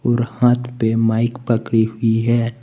और हाथ पे माइक पकड़ी हुई है।